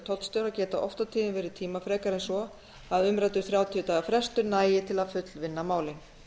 tollstjóra geta oft og tíðum verið tímafrekari en svo að umræddur þrjátíu daga frestur nægi til að fullvinna málin